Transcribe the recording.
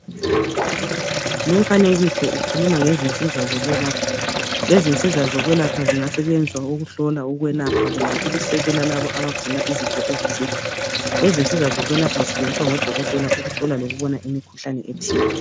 Lumfanekiso ukhuluma ngezinsiza zokwelapha. Lezi nsiza zokwelapha zingasetshenziswa ukuhlola ukwelapha kumbe ukusekela labo abagula uzifo ezithile. Lezi nsiza zokwelapha zisetshenziswa ngodokotela ukuhlola lokubona imikhuhlane ethile.